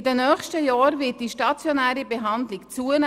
In den kommenden Jahren wird die stationäre Behandlung zunehmen.